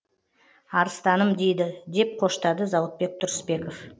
арыстаным дейді деп қоштады зауытбек тұрысбеков